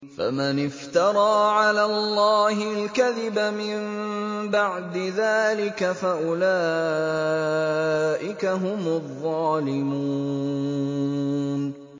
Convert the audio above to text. فَمَنِ افْتَرَىٰ عَلَى اللَّهِ الْكَذِبَ مِن بَعْدِ ذَٰلِكَ فَأُولَٰئِكَ هُمُ الظَّالِمُونَ